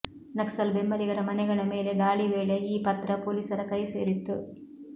ನಕ್ಸಲ್ ಬೆಂಬಲಿಗರ ಮನೆಗಳ ಮೇಲೆ ದಾಳಿ ವೇಳೆ ಈ ಪತ್ರ ಪೊಲೀಸರ ಕೈ ಸೇರಿತ್ತು